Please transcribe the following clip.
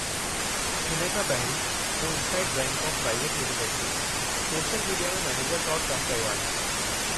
हिन खां पहिरीं, मूं इनसाइट ब्रांडकॉम प्राइवेट लिमिटेड में सोशल मीडिया में मैनेजर तौरु कमु कयो आहे।